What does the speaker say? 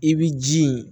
I b'i ji in